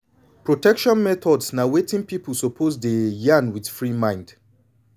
protection methods na wetin pipu suppose dey yan wit free mind